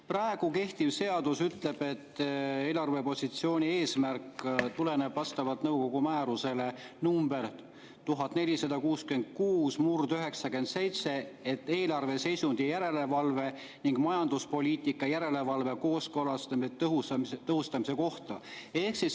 Praegu kehtiv seadus ütleb, et eelarvepositsiooni eesmärk tuleneb nõukogu määrusest nr 1466/97 eelarveseisundi järelevalve ning majanduspoliitika järelevalve ja kooskõlastamise tõhustamise kohta.